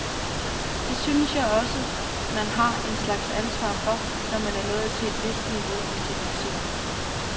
Det synes jeg også man har en slags ansvar for, når man er nået til et vist niveau i sin musik.